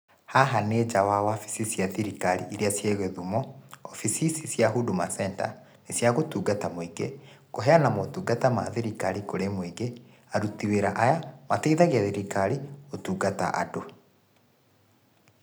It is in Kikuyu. Haha nĩ nja wa wabici cia thirikari iria ciĩ gĩthumo, wabici ici cia Huduma Center nĩ cia gũtungata mũingĩ, kũheana motungata ma thirikari kũrĩ mũingĩ, aruti wĩra aya mateithagia thirikari gũtungata andũ.